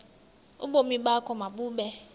ubomi bakho mabube